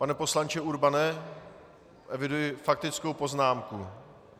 Pane poslanče Urbane, eviduji faktickou poznámku.